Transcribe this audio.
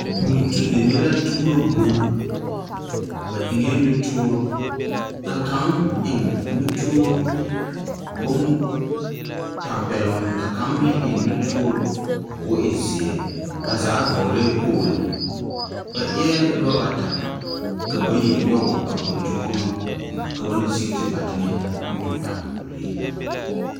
Buli tu deme la tuuro bulli. Ba eŋԑԑ nutoore, ka kaŋ eŋ nutoore bontampԑloŋ, ka kaŋa meŋ eŋ nutoore koo e zeԑ. Ba zaa vͻgelԑԑ kpogilo. Ba eԑԑ noba bata, ka bayi nyͻge a buli tu kuri ka ban a sigi te ba teŋԑ ka o tu a bulee.